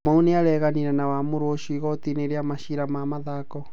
Kamau nĩa reganire na wamũro ũcio igotinĩ rĩa macira ma mathako.